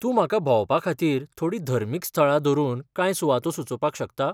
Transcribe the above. तूं म्हाका भोंवपाखातीर थोडीं धर्मीक स्थळां धरून कांय सुवातो सुचोवपाक शकता?